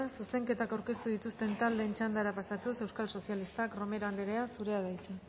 zuzenketak aurkeztu dituzten taldeen txandara pasatuz euskal sozialistak romero andrea zurea da hitza